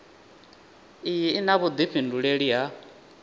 iyi i na vhuifhinduleli ha